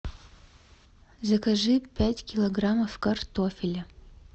закажи пять килограммов картофеля